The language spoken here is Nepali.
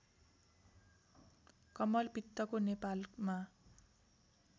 कमलपित्तको नेपालमा